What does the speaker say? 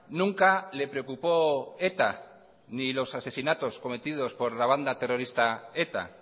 nunca le preocupó eta ni los asesinatos cometidos por la banda terrorista eta